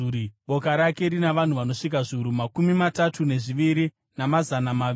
Boka rake rina vanhu vanosvika zviuru makumi matatu nezviviri, namazana maviri.